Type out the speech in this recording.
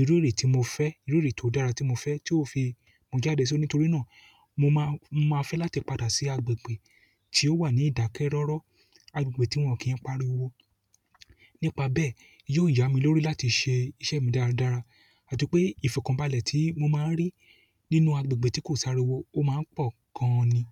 ìrure tí mo fẹ́, ìrure tó dá tí mo fẹ́ tí ó fi mú jáde síi. Nítorí náà mo máa, máa fẹ́ láti padà sí agbègbè tí ó wà ní ìdákẹ́rọ́rọ́, agbègbè tí wọ́n kì n pariwo. Nípa bẹ́ẹ̀ yi o yami lórí láti se iṣẹ́ mi dára dára atipe ifokanbale ti mo maa n ri nínú agbègbè ti ko si ariwo o maa n po gan ni.